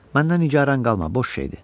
Məndən nigaran qalma, boş şeydir.